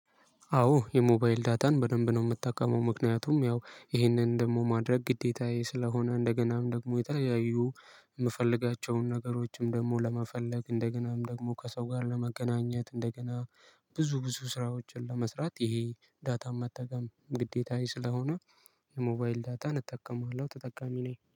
አዎ የሞባይል ዳታን በደንብ ነው የምጠቀመው ምክንያቱም ያው ይህንን ደግሞ ማድረግ ግዴታዬ ስለሆነ እንደገናም ደግሞ የተለያዩ የምፈልጋቸውን ነገሮችም ደግሞ ለመፈለግ እንደገናም ደግሞ ከሰው ጋር ለመገናኘት እንደገና ብዙ ብዙ ስራዎችን ለመስራት ይሄ ዳታ መጠቀም ግዴታዬ ስለሆነ የሞባይል ዳታን እጠቀማለሁ ተጠቃሚ ነኝ